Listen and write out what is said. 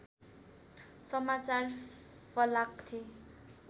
समाचार फलाक्थे